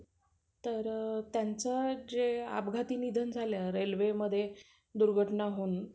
अठरा ते वीस हजार पर्यंत.